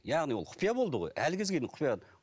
яғни ол құпия болды ғой әлі кезге дейін құпия